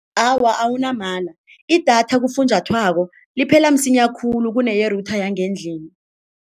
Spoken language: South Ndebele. Awa, awunamala, i-data kufunjathwako liphela msinya khulu kuneye-router yangendlini.